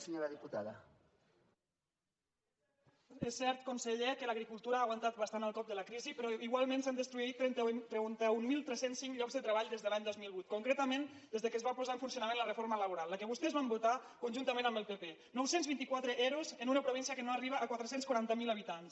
és cert conseller que l’agricultura ha aguantat bastant el cop de la crisi però igualment s’han destruït trenta mil tres cents i cinc llocs de treball des de l’any dos mil vuit concretament des que es va posar en funcionament la reforma laboral la que vostès van votar conjuntament amb el pp nou cents i vint quatre ero en una província que no arriba a quatre cents i quaranta miler habitants